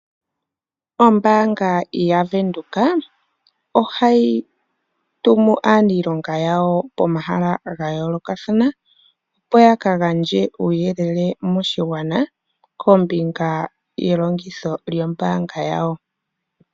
Ombaanga yaVenduka ohayi tumu aaniilonga yawo komahala ga yoolokathana, opo ya ka gandje uuyelele moshigwana kombinga ye longitho lyombaanga yawo.